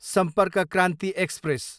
सम्पर्क क्रान्ति एक्सप्रेस